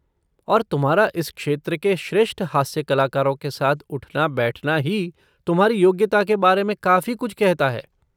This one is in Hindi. और तुम्हारा इस क्षेत्र के श्रेष्ठ हास्य कलाकारों के साथ उठना बैठना ही तुम्हारी योग्यता के बारे में काफ़ी कुछ कहता है।